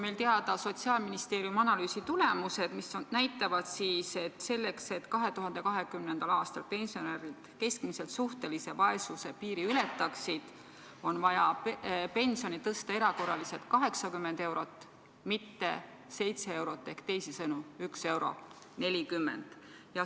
Meil on teada Sotsiaalministeeriumi analüüsi tulemused, mis näitavad, et selleks, et 2020. aastal pensionärid keskmiselt suhtelise vaesuse piiri ületaksid, on vaja pensioni tõsta erakorraliselt 80 eurot, mitte 7 eurot ehk 1 euro ja 40 senti.